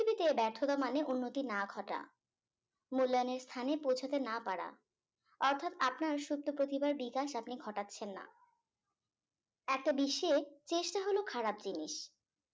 দিকে ব্যার্থতা মানে উন্নতি না ঘটা মূল্যানের স্থানে পৌঁছতে না পারা অর্থাৎ আপনার সুপ্ত প্রতিভার বিকাশ আপনি ঘটাচ্ছেন না একটা বিশ্বে চেষ্টা হলো খারাপ জিনিস